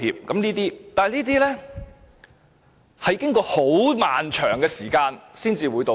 但是，這些都是經過很漫長的時間後，才會道歉。